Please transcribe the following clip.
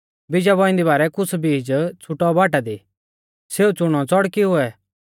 बीजा बौइंदी बारै कुछ़ बीज छ़ुटौ बाटा दी सौ च़ुणौ च़ड़कुऐ